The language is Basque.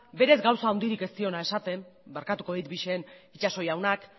berez gauza handirik ez diona esaten barkatuko dit bixen itxaso jaunak